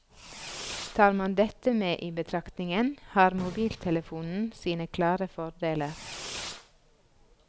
Tar man dette med i betraktningen har mobiltelefonen sine klare fordeler.